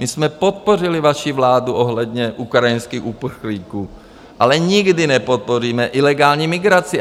My jsme podpořili vaši vládu ohledně ukrajinských uprchlíků, ale nikdy nepodpoříme ilegální migraci.